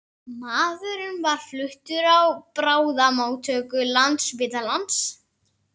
Maðurinn var fluttur á bráðamóttöku Landspítalans